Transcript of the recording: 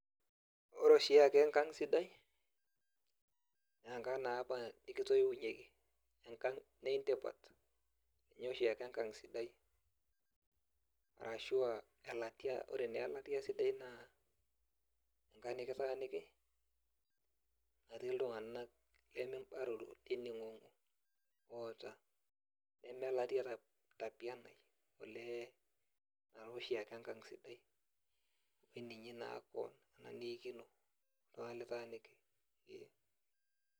Ore oshiake enkang' sidai, naa enkang' naapa nikitoiunyeki. Enkang' nintipat. Ninye oshiake enkang' sidai. Arashua elatia. Ore naa elatia sidai naa, enkang' nikitaaniki, natii iltung'anak limibaroro, nining'ong'o oota, neme latia napianai, olee ina toshiake enkang' sidai. Amu eninyi naa keon, ina niikino, iltung'anak litaaniki, ee.